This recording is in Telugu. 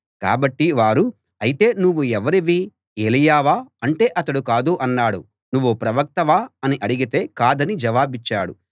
కాబట్టి వారు అయితే నువ్వు ఎవరివి ఏలీయావా అంటే అతడు కాదు అన్నాడు నువ్వు ప్రవక్తవా అని అడిగితే కాదని జవాబిచ్చాడు